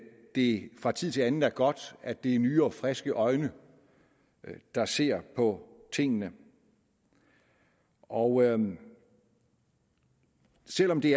det fra tid til anden er godt at det er nye og friske øjne der ser på tingene og selv om det